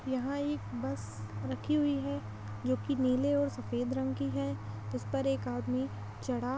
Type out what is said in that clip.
यहाँ एक बस रखी हुई है जो कि नीले और सफ़ेद रंग की है उस पर एक आदमी चढ़ा --